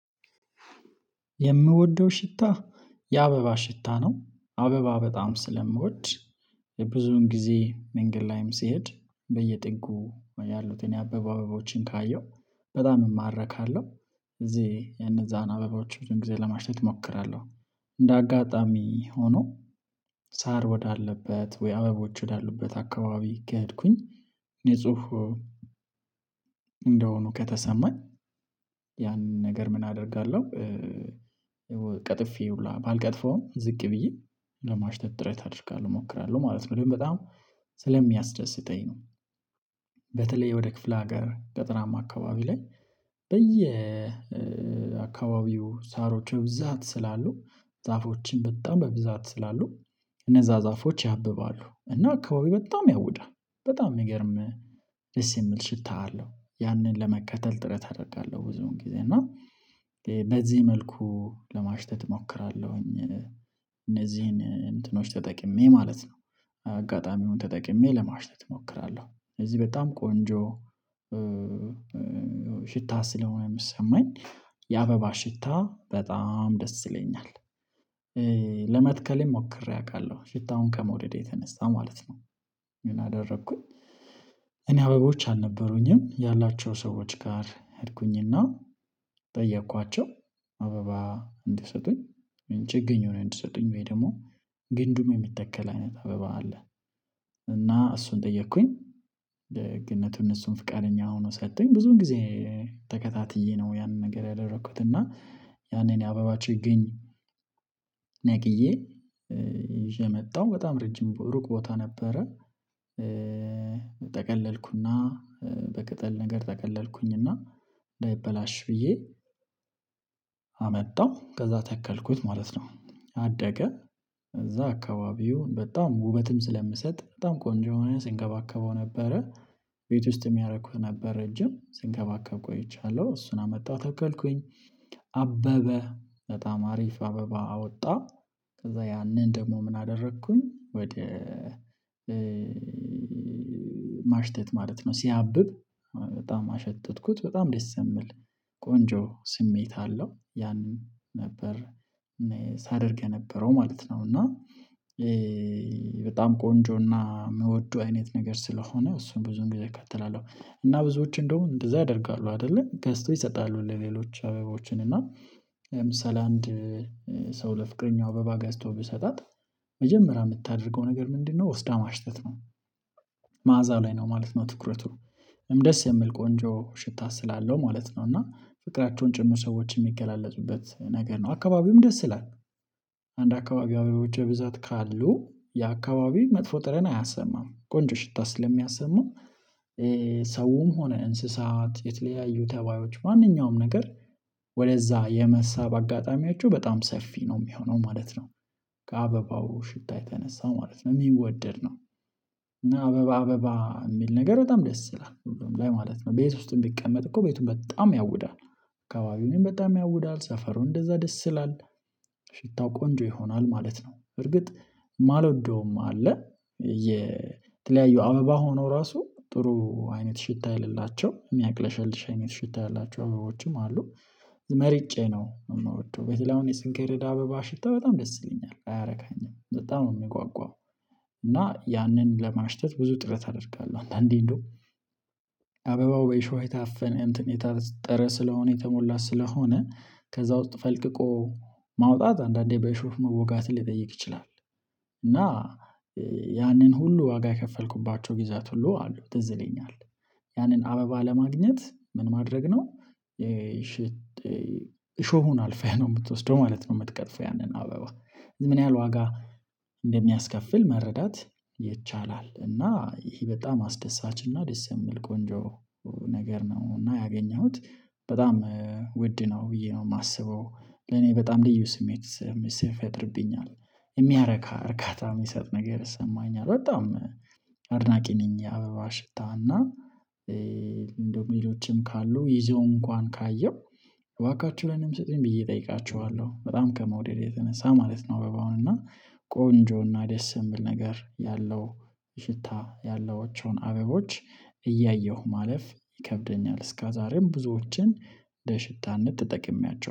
የምወደው ሽታ የአበባ ሽታ ነው አበባ በጣም ስለምወድ የብዙን ጊዜ መንገድ ላይም ሲሄድ በየጥጉ ያሉትን የአበባ አበቦችን ካየሁ በጣም እማረካለሁ። እዚህ የነዛን አበባዎች ብዙም ጊዜ ለማሸተት እሞክራለሁ። እንደ አጋጣሚ ሆኖ ሳር ወዳለበት ወይ አበቦች ወዳሉበት አካባቢ ከሄድኩኝ ንጹ እንደሆኑ ከተሰማን ያንን ነገር ምን አደርጋለሁ? ቀጥፌ ባልቀጥፈውም ዝቅ ብዬ ለማሽተት ጥረት አደርጋለሁ እሞክራለሁ ማለት ነው። በደንብ በጣም ስለሚያስደስተኝ ነው። በተለይ ወደ ክፍለ ሀገር ገጠራማ አካባቢ ላይ በየ አካባቢው ሳሮች በብዛት ስላሉ ዛፎችም በጣም በብዛት ስላሉ እነዛ ዛፎች ያብባሉ እና አካባቢው በጣም ያውዳል በጣም ሚገርም ደስ የሚል ሽታ አለው ያንን ለመከተል ጥረት አደርጋለሁ። ብዙን ጊዜ እና በዚህ መልኩ ለማሽተት እሞክራለሁኝ። እነዚህን እንትኖች ተጠቅሜ ማለት ነው። አጋጣሚውን ተጠቅሜ ለማሽተት እሞክራለሁ። እዚህ በጣም ቆንጆ ሽታ ስለሆነ ሚሰማኝ የአበባ ሽታ በጣም ደስ ይለኛል። ለመትከልም ሞክሬ አውቃለሁ ሽታውን ከመውደዴ የተነሳ ማለት ነው። ምን አደረኩኝ? እኔ አበቦች አልነበሩኝም ያላቸው ሰዎች ጋር ሄድኩኝና ጠየኳቸው። አበባ እንዲሰጡኝ ምን ችግኝ ሆነ እንዲሰጡኝ ወይ ደግሞ ግንዱም የሚተከል አይነት አበባ አለ? እና እሱን ጠየኩኝ። ደግነቱ እነሱም ፍቃደኛ ሆነው ሰጡኝ ብዙን ጊዜ ተከታትዬ ነው ያንን ነገር ያደረኩት። እና ያኔ የአበባ ችግኝ ነቅዬ ይዤ መጣው በጣም ረጅም ሩቅ ቦታ ነበረ። ጠቀለልኩና በቅጠል ነገር ጠቀለልኩኝና እንዳይበላሽ ብዬ አመጣሁ ከዛ ተከልኩት ማለት ነው። አደገ። እዛ አካባቢው በጣም ውበትም ስለምሰጥ በጣም ቆንጆ የሆነ ስንከባከበው ነበረ። ቤት ውስጥም ያረኩት ነበር ረጅም ስንከባከብ ቆይቻለሁ እሱን አመጣሁ ተከልኩኝ። አበበ በጣም አሪፍ አበባ አወጣ። ከዛ ያንን ደግሞ ምን አደረኩኝ? ወደ ማሽተት ማለት ነው። ሲያብብ በጣም አሸተትኩት በጣም ደስ የሚል ቆንጆ ስሜት አለው። ያንን ነበር ሳደርግ የነበረው ማለት ነው። እና በጣም ቆንጆና የምወደው አይነት ነገር ስለሆነ እሱን ብዙን ግዜ አካተላለሁ እና ብዙዎች እንደውም እንደዛ ያደርጋሉ። አይደለ ገዝተው ይሰጣሉ ለሌሎች አበቦችን እና ለምሳሌ አንድ ሰው ለፍቅረኛው አበባ ገዝቶ ቢሰጣት መጀመሪያ የምታደርገው ነገር ምንድነው? ወስዳ ማሽተት ነው። መዓዛ ላይ ነው ማለት ነው። ትኩረቱ ደስ የሚል ቆንጆ ሽታ ስላለው ማለት ነው። እና ፍቅራቸውን ጭምር ሰዎች የሚገላለጡበት ነገር ነው። አካባቢውም ደስ ይላል። አንድ አካባቢው አበቦች ብዛት ካሉ የአካባቢው መጥፎ ጠረን አያሰማም ቆንጆ ሽታ ስለሚያሰማው። ሰውም ሆነ እንስሳት የተለያዩ ተባዮች ማንኛውም ነገር ወደዛ የመሳብ አጋጣሚያቸው በጣም ሰፊ ነው የሚሆነው ማለት ነው። ከአበባው ሽታ የተነሳ ማለት ነው የሚወደድ ነው። አበባ አበባ የሚል ነገር በጣም ደስ ሁሉም ላይ ማለት ነው ቤት ውስጥም ቢቀመጥ እኮ ቤቱ በጣም ያውዳል አካባቢውንም በጣም ያውዳል ሰፈሩን እንደዛ ደስ ይላል። ሽታው ቆንጆ ይሆናል ማለት ነው በርግጥ የማልወደውም አለ። የተለያዩ አበባ ሆኖ ራሱ ጥሩ አይነት ሽታ የሌላቸው የሚያቅለሽልሽ አይነት ሽታ ያላቸው አበቦችም አሉ። መርጬ ነው የምወደው በተለይ አሁን የስንጌሬዳ አበባ ሽታ በጣም ደስ ይለኛል አያረካኝም በጣም ነው የምጓጓው። እና ያንን ለማሽተት ብዙ ጥረት አደርጋለሁ። አንዳንዴ እንደው አበባው በእሾህ የታፈነ እንትን የታጠረ ስለሆነ የተሞላ ስለሆነ ከዛ ውስጥ ፈልቅቆ ማውጣት አንዳንዴ በሾህ መወጋትህ ሊጠይቅ ይችላል። እና ያንን ሁሉ ዋጋ የከፈልኩባቸው ጊዜያት ሁሉ አሉ ትዝ ይለኛል። ያንን አበባ ለማግኘት ምን ማድረግ ነው? እሾሁን አልፈህ ነው የምትወስደው ማለት ነው የምትቀጥፈው ያንን አበባ። ምን ያህል ዋጋ እንደሚያስከፍል መረዳት ይቻላል። እና ይሄ በጣም አስደሳች እና ደስ የሚል ቆንጆ ነገር ነው። እና ያገኘሁት በጣም ውድ ነው ብዬ ነው የማስበው። ለኔ በጣም ልዩ ስሜት ስፈጥርብኛል የሚያረካ እርካታ የሚሰጥ ነገር ይሰማኛል። በጣም አድናቂ ነኝ። የአበባ ሽታ እና እንደው ሌሎችም ካሉ ይዘው እንኳን ካየው እባካችሁ ላኔም ስጡኝ ብዬ እጠይቃችዋለው በጣም ከመውደድ የተነሳ ማለት ነው። አበባውን እና ቆንጆ እና ደስ የሚል ነገር ያለው ሽታ ያላቸውን አበቦች እያየሁ ማለፍ ይከብደኛል። እስከ ዛሬም ብዙዎችን ለሽታነት ተጠቅሜያቸዋለሁ